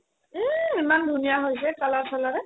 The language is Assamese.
এই ইমান ধুনীয়া হৈছে color চালাৰে